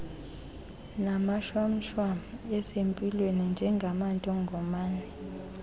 namashwamshwam asempilweni njengamantongomane